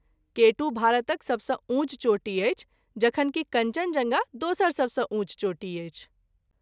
केटू भारतक सबसँ ऊँच चोटी अछि जखन कि कञ्चनजङ्गा दोसर सबसँ ऊँच चोटी अछि।